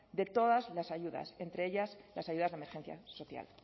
de todas las ayudas entre ellas las ayudas de emergencia social